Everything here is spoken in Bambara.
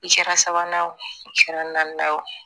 I kɛra sabanan ye o kɛra naaninan ye o